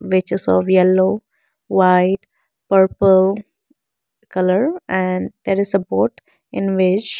which is of yellow white purple colour and there is a board in which --